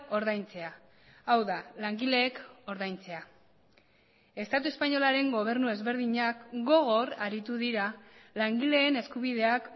ordaintzea hau da langileek ordaintzea estatu espainolaren gobernu ezberdinak gogor aritu dira langileen eskubideak